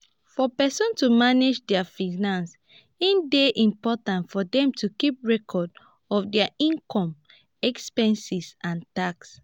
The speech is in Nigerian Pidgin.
for person to manage their finances e dey important for them to keep record of their inome expenses and tax